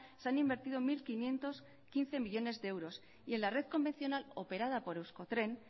se han invertido mil quinientos quince millónes de euros y en la red convencional operada por eusko tren